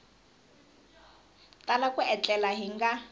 tala ku etlela hi nga